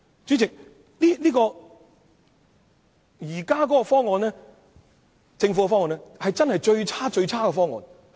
主席，政府現行的方案真是最差勁的方案。